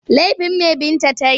Laifin me Binta ta yi?